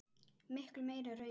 Miklu meira raunar.